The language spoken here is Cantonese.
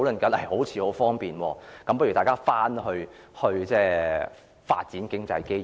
全部好像很方便，叫大家去發展經濟機遇。